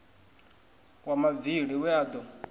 wa mavili we a do